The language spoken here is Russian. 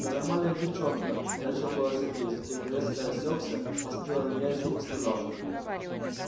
да нормальная девчонка начал было сергей затем резко осекся посмотрел на меня и сухо сказал